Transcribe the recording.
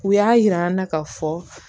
U y'a yir'an na k'a fɔ